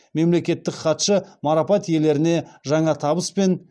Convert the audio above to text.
мемлекеттік хатшы марапат иелеріне жаңа табыс пен